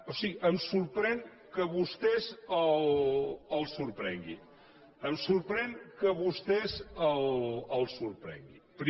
o sigui em sorprèn que a vostès els sorprengui em sorprèn que a vostès els sorprengui